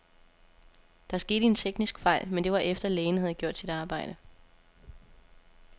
Der skete en teknisk fejl, men det var efter, lægen havde gjort sit arbejde.